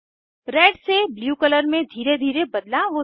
red से blue colour में धीरे धीरे बदलाव होता है